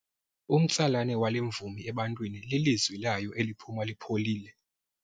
Umtsalane wale mvumi ebantwini lilizwi layo eliphuma lipholile.